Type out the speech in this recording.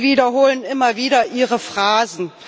Sie wiederholen immer wieder Ihre Phrasen.